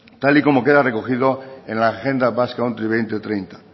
tal y como queda recogido en la agenda basque country dos mil treinta